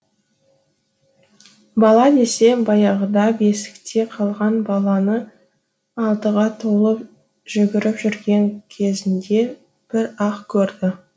бала десе баяғыда бесікте қалған баланы алтыға толып жүгіріп жүрген кезінде бір ақ көрді